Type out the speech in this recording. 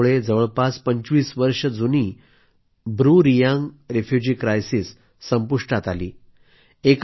या करारामुळे जवळपास 25 वर्षे जुनी ब्रूरियांग रेफ्यूजी क्रायसेस संपुष्टात आले